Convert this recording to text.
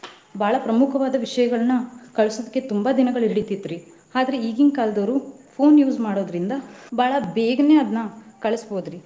ಬಾಳ ಪ್ರಮುಖವಾದ ವಿಷಯಗಳನ್ನ ಕಳ್ಸೊದಕ್ಕೆ ತುಂಬಾ ದಿನಗಳ್ ಹಿಡಿತ್ತಿತ್ರಿ. ಆದ್ರ ಈಗಿನ್ ಕಾಲದವ್ರು phone use ಮಾಡೊದ್ರಿಂದ ಬಾಳ ಬೇಗನೆ ಅದ್ನ ಕಳಸಬಹುದ್ರಿ.